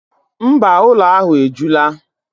Mba, ụlọ ahụ ejula.